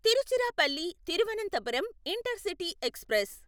Tiruchirappalli Thiruvananthapuram intercity express